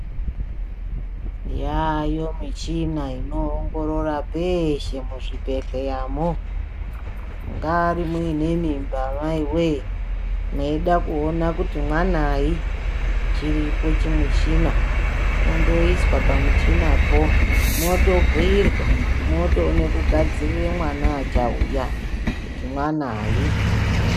Yaayo michhina inoongorora peeshe muzvibhedhleyamwo, mungaari muine mimba mai wee, mweida kuona kuti mwanayi? Chiripo chimishina, kundoiswa pamuchina po, mwotobhiirwa, mwotoone kugadzirira mwana achauya kuti mwanayi.